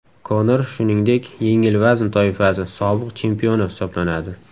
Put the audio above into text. Konor shuningdek, yengil vazn toifasi sobiq chempioni hisoblanadi.